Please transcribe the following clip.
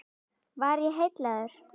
Var ég heillaður?